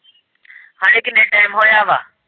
ਹਲੇ ਕਿੰਨੇ ਟਾਇਮ ਹੋਇਆ ਵਾਂ।